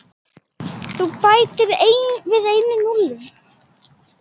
Þú bætir við einu núlli.